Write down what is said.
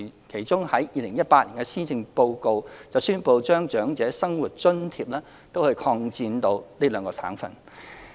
其中，在2018年施政報告中，我們宣布將長者生活津貼擴展至該兩省的可攜安排。